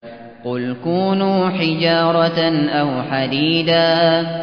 ۞ قُلْ كُونُوا حِجَارَةً أَوْ حَدِيدًا